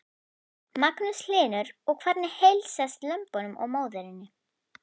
Magnús Hlynur: Og hvernig heilsast lömbunum og móðurinni?